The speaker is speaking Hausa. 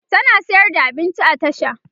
tana sayar da abinci a tasha